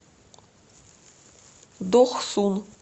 дохсун